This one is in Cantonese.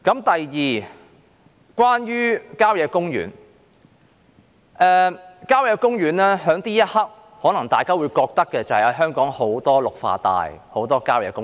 第二，關於郊野公園，大家現在可能會覺得香港有很多綠化帶和郊野公園。